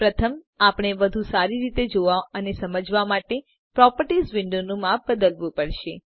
પ્રથમ આપણે વધુ સારી રીતે જોવા અને સમજવા માટે પ્રોપર્ટીઝ વિન્ડોનું માપ બદલવું પડશે